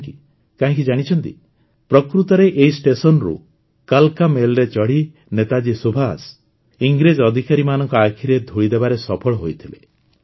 କାହିଁକି ଜାଣିଛନ୍ତି ପ୍ରକୃତରେ ଏହି ଷ୍ଟେସନରୁ କାଲ୍କା ମେଲରେ ଚଢ଼ି ନେତାଜୀ ସୁଭାଷ ଇଂରେଜ ଅଧିକାରୀମାନଙ୍କ ଆଖିରେ ଧୂଳି ଦେବାରେ ସଫଳ ହୋଇଥିଲେ